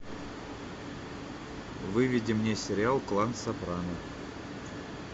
выведи мне сериал клан сопрано